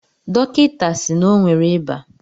Dọkịta si n'onwe re ịba